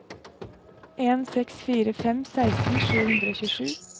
en seks fire fem seksten sju hundre og tjuesju